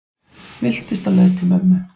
Villtist á leið til mömmu